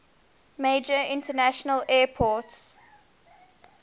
major international airport